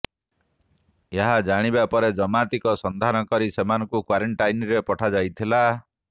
ଏହା ଜଣିବା ପରେ ଜମାତିଙ୍କ ସନ୍ଧାନ କରି ସେମାନଙ୍କୁ କ୍ବାରେଣ୍ଟାଇନରେ ପଠା ଯାଇଥିଲା